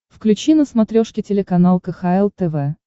включи на смотрешке телеканал кхл тв